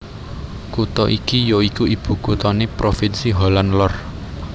Kutha iki ya iku ibukuthané provinsi Holland Lor